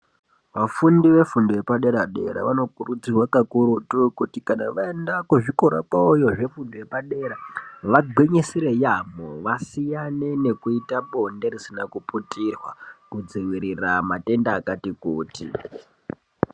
Vafundi vefundo yepadera dera, vano kurudzirwa kakurutu kuti kana vaenda kuzvikora kwawoyo zvefundo yepadera, vagwinyisire yaamho, vasiyane nekuita bonde risina kuputirwa, kudziwirira matenda akati kuti.